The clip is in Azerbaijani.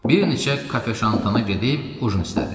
Bir neçə kafe-şantana gedib ujin istədim.